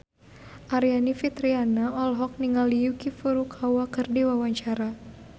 Aryani Fitriana olohok ningali Yuki Furukawa keur diwawancara